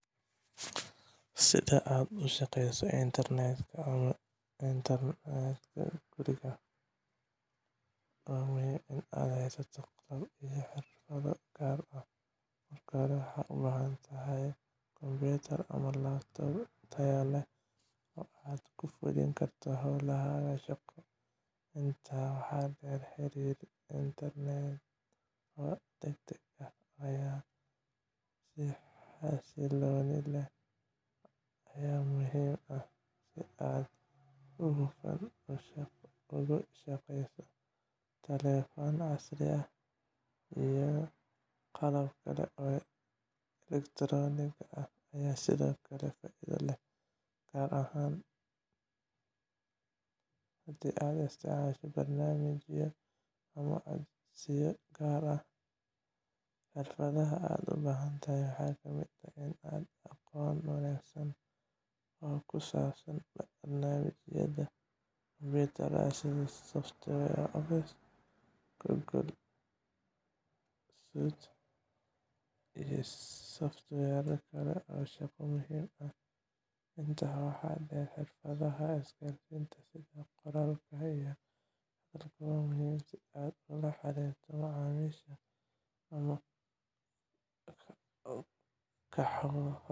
Si aad uga shaqeyso internetka ama guriga, waxaa muhiim ah in aad haysato qalab iyo xirfado gaar ah. Marka hore, waxaad u baahan tahay kombuyuutar ama laptop tayo leh oo aad ku fulin karto hawlahaaga shaqo. Intaa waxaa dheer, xiriir internet oo degdeg ah iyo xasillooni leh ayaa muhiim ah si aad si hufan ugu shaqeyso. Taleefan casri ah iyo qalab kale oo elektiroonig ah ayaa sidoo kale faa'iido leh, gaar ahaan haddii aad isticmaasho barnaamijyo ama codsiyo gaar ah. Xirfadaha aad u baahan tahay waxaa ka mid ah aqoon wanaagsan oo ku saabsan barnaamijyada kombuyuutarka sida Microsoft Office, Google Suite, iyo software kale oo shaqo muhiim ah. Intaa waxaa dheer, xirfadaha isgaarsiinta, sida qoraalka iyo hadalka, waa muhiim si aad ula xiriirto macaamiisha ama kooxahaada